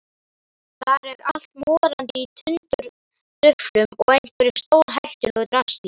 Þar er allt morandi í tundurduflum og einhverju stórhættulegu drasli.